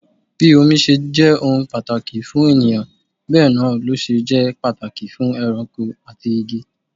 Bí omi ṣe jẹ́ ohun pàtàkì fún ènìyàn bẹ náà lọ ṣe jẹ́ pàtàkì fún ẹranko àti igi.